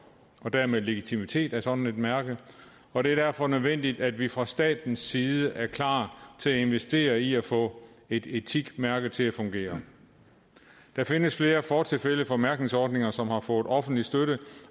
og dermed legitimitet af sådan et mærke og det er derfor nødvendigt at vi fra statens side er klar til at investere i at få et etikmærke til at fungere der findes flere fortilfælde for mærkningsordninger som har fået offentlig støtte